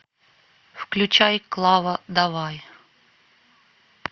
включай клава давай